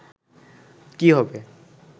কি হবে”